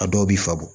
A dɔw b'i fa